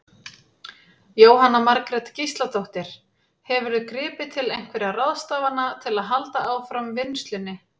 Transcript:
Jóhanna Margrét Gísladóttir: Hefurðu gripið til einhverja ráðstafana til að halda áfram vinnslunni?